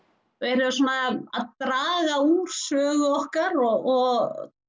þeir eru svona að draga úr sögu okkar og